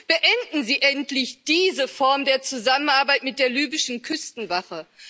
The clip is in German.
Beenden Sie endlich diese Form der Zusammenarbeit mit der libyschen Küstenwache!